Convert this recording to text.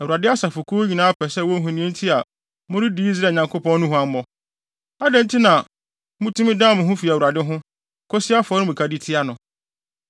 “ Awurade asafokuw nyinaa pɛ sɛ wohu nea enti a moredi Israel Nyankopɔn no huammɔ. Adɛn nti na mutumi dan mo ho fi Awurade ho, kosi afɔremuka de tia no?